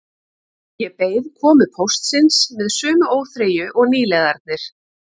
Ég beið komu póstsins með sömu óþreyju og nýliðarnir